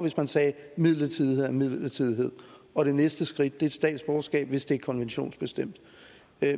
hvis man sagde midlertidighed er midlertidighed og det næste skridt er statsborgerskab hvis det er konventionsbestemt